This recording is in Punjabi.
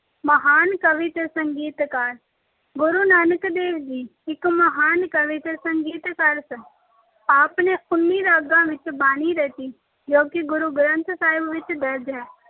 ਮਹਾਨ ਕਵੀ ਤੇ ਸੰਗੀਤਕਾਰ- ਗੁਰੂ ਨਾਨਕ ਦੇਵ ਜੀ ਇੱਕ ਮਹਾਨ ਕਵੀ ਤੇ ਸੰਗੀਤਕਾਰ ਸਨ। ਆਪ ਨੇ ਉੱਨੀ ਰਾਗਾਂ ਵਿੱਚ ਬਾਣੀ ਰਚੀ, ਜੋ ਕਿ ਗੁਰੂ ਗ੍ਰੰਥ ਸਾਹਿਬ ਵਿੱਚ ਦਰਜ ਹੈ।